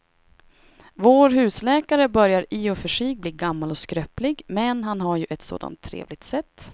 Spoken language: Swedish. Vår husläkare börjar i och för sig bli gammal och skröplig, men han har ju ett sådant trevligt sätt!